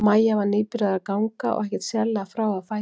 Maja var nýbyrjuð að ganga og ekkert sérlega frá á fæti.